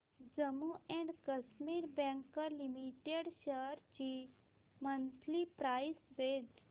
Jammu and Kashmir bank limited shares ची monthly price range